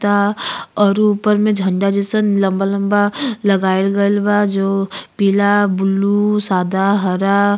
ता और ऊपर में उ झंडा जैसा लम्बा लम्बा लगाईल गइल बा। जो पीला ब्लू सादा हरा --